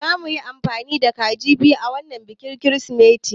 Zamuyi amfani da kaji biyu a wanan bikin kirismas